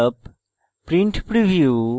print preview